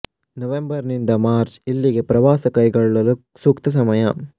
November ನಿಂದ March ಇಲ್ಲಿಗೆ ಪ್ರವಾಸ ಕೈಗೊಳ್ಳಲು ಸೂಕ್ತ ಸಮಯ